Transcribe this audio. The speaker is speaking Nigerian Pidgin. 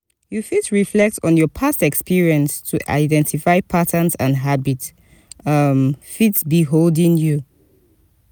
you fit reflect on your past experience to identify patterns and habits um fit be holding you.